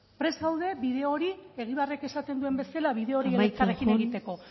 prest gaude bide hori egibarrek esaten duen bezala bide hori elkarrekin egiteko